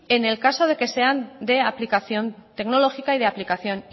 en el caso de que sean de aplicación tecnológica y de aplicación